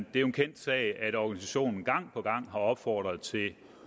en kendt sag at organisationen gang på gang har opfordret til